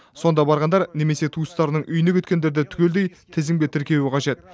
сонда барғандар немесе туыстарының үйіне кеткендерді түгелдей тізімге тіркеуі қажет